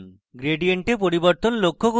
gradient এ পরিবর্তন লক্ষ্য করুন